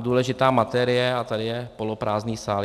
důležitá materie, a tady je poloprázdný sál.